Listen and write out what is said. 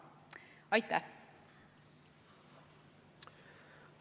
Aitäh!